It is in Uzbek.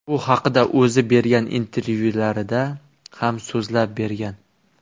Bu haqida o‘zi bergan intervyularida ham so‘zlab bergan .